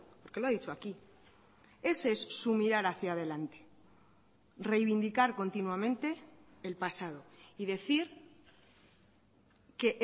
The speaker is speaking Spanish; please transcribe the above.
porque lo ha dicho aquí ese es su mirar hacía delante reivindicar continuamente el pasado y decir que